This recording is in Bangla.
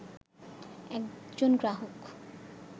একজন গ্রাহক